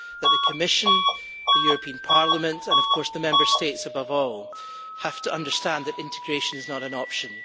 But the Commission, the European Parliament and of course the Member States above all have to understand that integration is not an option.